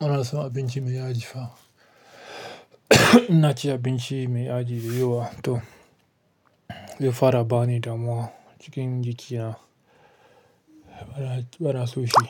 muna son abinci mai yaji fa. Ina ci abinci mai yaji yiwuwa to, ze fara bani damuwa cikin zuciya. Bara, bara soshi.